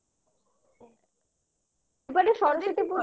এবারে সরস্বতী পুজো